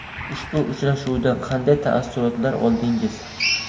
Ushbu uchrashuvdan qanday taassurotlar oldingiz?